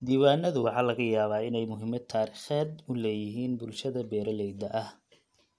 Diiwaanadu waxa laga yaabaa inay muhiimad taariikheed u leeyihiin bulshada beeralayda ah.